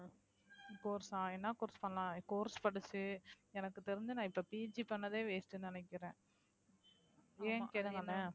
course ஆ என்னா course பண்ணலாம் course படிச்சு எனக்கு தெரிஞ்சு நான் இப்ப PG பண்ணதே waste ன்னு நினைக்கிறேன் ஏன்னு கேளுங்கண்ணே